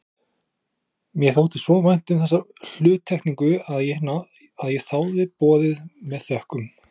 Mér þótti svo vænt um þessa hluttekningu að ég þáði boðið með þökkum.